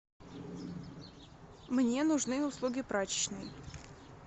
мне нужны услуги прачечной